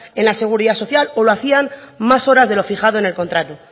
en la seguridad social o lo hacían más horas de lo fijado en el contrato